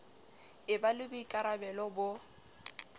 e ba le boikarabalo bo